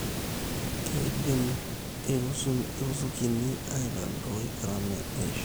Keidim iruzukini aitadoii gharama ee ishore